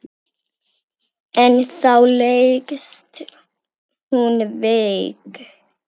En þá leggst hún veik.